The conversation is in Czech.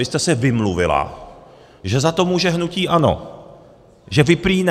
Vy jste se vymluvila, že za to může hnutí ANO, že vy prý ne.